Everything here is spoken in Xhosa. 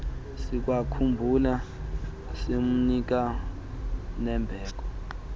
sikwakhumbula simnika nembeko